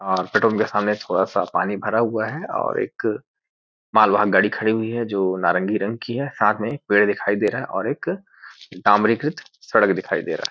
और पितुम के सामने थोड़ा सा पानी भरा हुआ है और एक माल वाहन गाड़ी खड़ी हुई है जो नारंगी रंग की है साथ में पेड़ दिखाई दे रहा है और एक डामरी कृत सड़क दिखाई दे रहा है ।